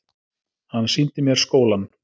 Hann sýndi mér skólann.